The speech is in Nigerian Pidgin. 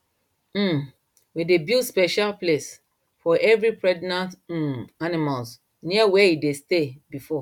um we dey build special place for every pregnant um animal near where e dey stay before